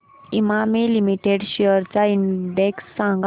Emami limited shares चा index सांगा